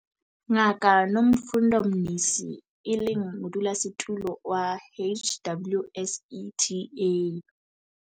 Ngaka Nomfundo Mnisi, e leng Modulasetulo wa HWSETA.